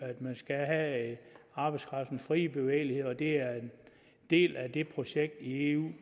at man skal have arbejdskraftens frie bevægelighed og at det er en del af det projekt i eu